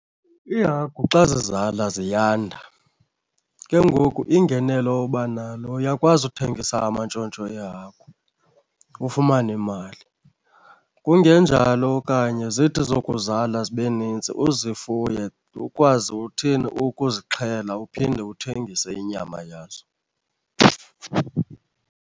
Iihagu xa zizala ziyanda. Ke ngoku ingenelo oba nalo uyakwazi ukuthengisa amantshontsho ehagu ufumane imali. Kungenjalo okanye zithi zokuzala zibe nintsi uzifuye, ukwazi uthini? Ukuzixhela uphinde uthengise inyama yazo.